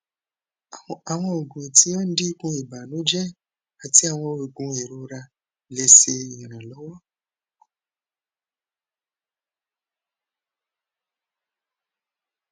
awọn oogun ti o dinku ibanujẹ ati awọn oogun irora le ṣe iranlọwọ